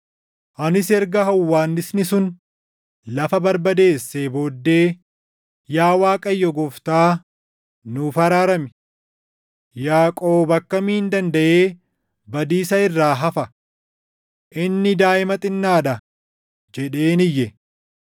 Anis erga hawwaannisni sun lafa barbadeessee booddee, “Yaa Waaqayyo Gooftaa, nuuf araarami! Yaaqoob akkamiin dandaʼee badiisa irraa hafa? Inni daaʼima xinnaa dha!” jedheen iyye.